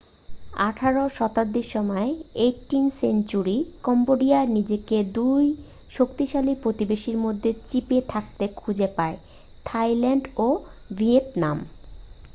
আঠারো শতাব্দীর সময়18th century কম্বোডিয়া নিজেকে 2 শক্তিশালী প্রতিবেশীর মধ্যে চিপে থাকতে খুঁজে পায় থাইল্যান্ড ও ভিয়েতনাম।